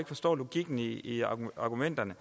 forstår logikken i argumenterne